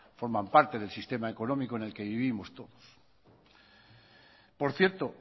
forman parte del sistema económico en el que vivimos todos por cierto